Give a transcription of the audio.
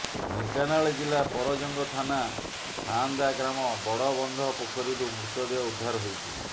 ଢେଙ୍କାନାଳ ଜିଲ୍ଲା ପରଜଙ୍ଗ ଥାନା ସାଆନ୍ଦା ଗ୍ରାମ ବଡ଼ ବନ୍ଧ ପୋଖରୀରୁ ମୃତ ଦେହ ଉଦ୍ଧାର ହୋଇଛି